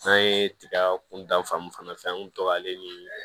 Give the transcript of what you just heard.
An ye tiga kuntan fan mun fana fɛ an kun to k'ale niii